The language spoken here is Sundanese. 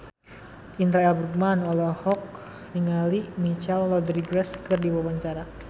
Indra L. Bruggman olohok ningali Michelle Rodriguez keur diwawancara